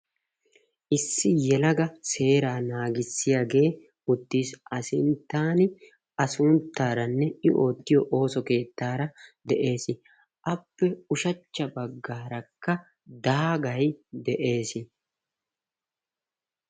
Issi yelagga seera naagissiyage uttis a sunttaranne i oottiyo oosso keettara de'es. Appe ushshachcha baggarakka daagay de'ees.